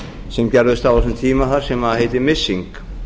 sem gerðust á þessum tíma sem heitir missing